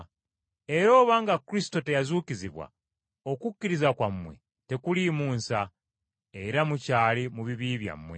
Era obanga Kristo teyazuukizibwa okukkiriza kwammwe tekuliimu nsa, era mukyali mu bibi byammwe.